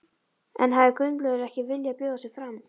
En hefði Gunnleifur ekki viljað bjóða sig fram?